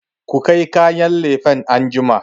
ku kai kayan lefen anjima!